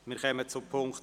Wir kommen zu Ziffer